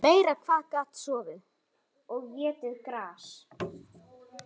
Meira hvað hann gat sofið!